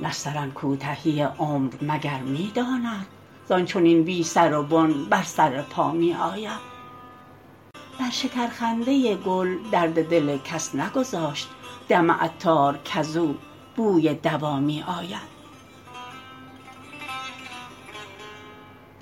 نسترن کوتهی عمر مگر می داند زان چنین بی سر و بن بر سر پا می آید بر شکر خنده گل درد دل کس نگذاشت دم عطار کزو بوی دوا می آید